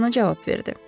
Dekorn cavab verdi.